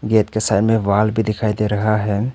Gate के सामने wall भी दिखाई दे रहा है।